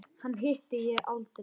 Hana hitti ég aldrei.